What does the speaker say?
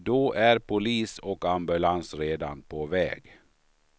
Då är polis och ambulans redan på väg.